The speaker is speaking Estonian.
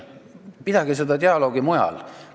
Pidage seda dialoogi mujal!